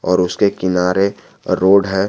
और उसके किनारे रोड हैं।